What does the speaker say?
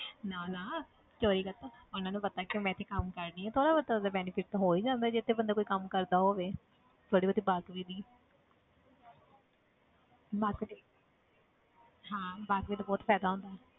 ਨਾ ਨਾ ਚੌਰੀ ਕਾਹਤੋਂ ਉਹਨਾਂ ਨੂੰ ਪਤਾ ਕਿ ਮੈਂ ਇੱਥੇ ਕੰਮ ਕਰ ਰਹੀ ਹਾਂ ਥੋੜ੍ਹਾ ਬਹੁਤਾ ਤਾਂ benefit ਤਾਂ ਹੋ ਹੀ ਜਾਂਦਾ ਜਿੱਥੇ ਬੰਦਾ ਕੋਈ ਕੰਮ ਕਰਦਾ ਹੋਵੇ ਥੋੜ੍ਹੀ ਬਹੁਤੀ ਵਾਕਫ਼ੀ ਦੀ ਹਾਂ ਵਾਕਫ਼ੀ ਦਾ ਬਹੁਤ ਫ਼ਾਇਦਾ ਹੁੰਦਾ ਹੈ।